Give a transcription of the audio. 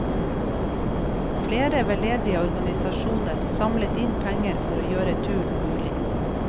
Flere veldedige organisasjoner samlet inn penger for å gjøre turen mulig.